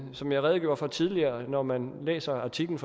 som jeg redegjorde for tidligere når man læser artiklen